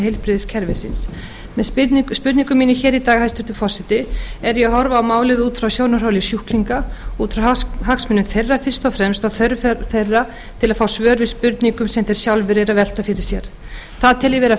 heilbrigðiskerfisins með spurningu minni hér í dag hæstvirtur forseti er ég að horfa á málið út frá sjónarhóli sjúklinga út frá hagsmunum þeirra fyrst og fremst og þörf þeirra til að fá svör við spurningum sem þeir sjálfir eru að velta fyrir sér það tel ég vera